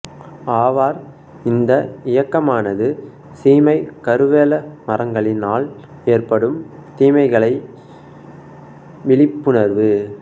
ஆவார் இந்த இயக்கமானது சீமை கருவேலமரங்களினால் ஏற்படும் தீமைகளை விழிப்புணர்வு